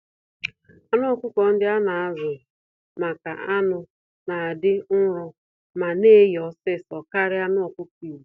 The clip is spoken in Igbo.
Anụ ọkụkọ ndị ana-azu-maka-anụ̀ n'adị nro ma neghe ọsịsọ karịa anụ ọkụkọ Igbo